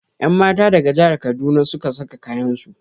Yanmata daga jahar kaduna suka saka kayansu.